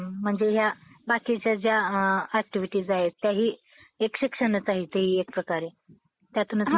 त्यावेळेस गोष्टी होतात. त बडोदा संस्थानात त्यांनी ते काम केलं. आणि दादोबा कार्याची पोच म्हणून, सरकारनं त्यांना रावबहादुर, हि पदवी दिलेली होती. त्यांच्या नावासमोरून the late रावबहादूर दादोबा पांडुरंग,